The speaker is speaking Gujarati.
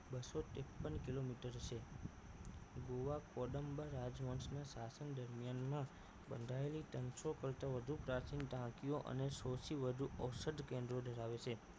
બસો ત્રેપન કિલોમીટર છે ગોવા કોડમ્બર રાજવંશ ના શાસન દરમિયાન માં બંધાયેલી ત્રણસો કરતાં વધુ પ્રાચીન ટાંકીઓ અને સોળથી વધુ ઓસઠ ગેંદો ધરાવે છે